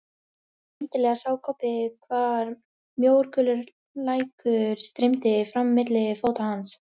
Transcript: Skyndilega sá Kobbi hvar mjór gulur lækur streymdi fram milli fóta hans.